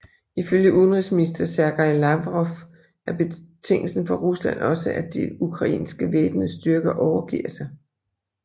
Ifølge udenrigsminister Sergej Lavrov er betingelsen for Rusland også at de ukrainske væbnede styrker overgiver sig